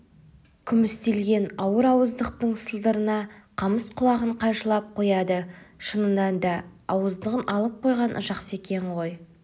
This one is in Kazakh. күмістелген ауыр ауыздықтың сылдырына қамыс құлағын қайшылап қояды шынында да ауыздығын алып қойған жақсы екен ғой